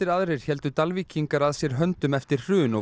aðrir héldu Dalvíkingar að sér höndum eftir hrun og